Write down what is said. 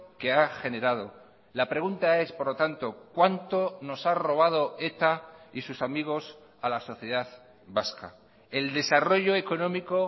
que ha generado la pregunta es por lo tanto cuánto nos ha robado eta y sus amigos a la sociedad vasca el desarrollo económico